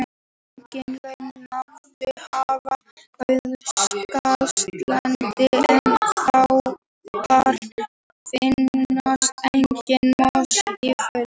Aukinheldur mætti nefna Suðurskautslandið en þar finnast engar moskítóflugur.